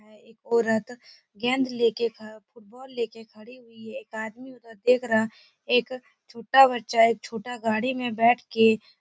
यहाँ एक औरत गेंद ले कर फुटबाल ले कर खड़ी हुई है। एक आदमी उधर देख रहा है। एक छोटा बच्चा है एक छोटा गाड़ी में बैठ के --